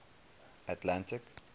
atlantic